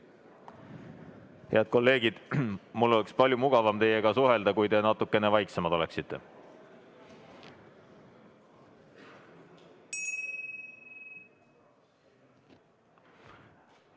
Head kolleegid, mul oleks palju mugavam teiega suhelda, kui te natukene vaiksemad oleksite.